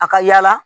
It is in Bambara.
A ka yala